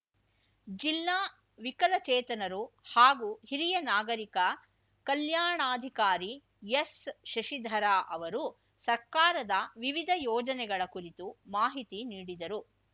ಜಿಲ್ಲಾ ವಿಕಲಚೇತನರು ಹಾಗೂ ಹಿರಿಯ ನಾಗರಿಕ ಕಲ್ಯಾಣಾಧಿಕಾರಿ ಎಸ್‌ ಶಶಿಧರ ಅವರು ಸರ್ಕಾರದ ವಿವಿಧ ಯೋಜನೆಗಳ ಕುರಿತು ಮಾಹಿತಿ ನೀಡಿದರು